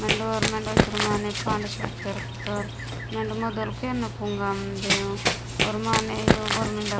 मेंडे ओंड मोइत्तोर माने पाण्डे सोईत्तोर मेंडे ओदोल केना पुंगार मेन्दे ओर माने ऊ उबर मेंडा।